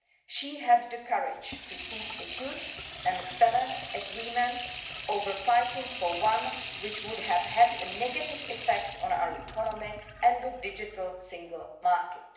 She had the courage to seek a good and balanced agreement over fighting for one which would have had a negative effect on our economy and the digital single market.